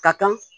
Ka kan